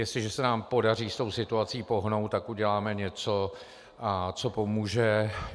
Jestliže se nám podaří s tou situací pohnout, tak uděláme něco, co pomůže.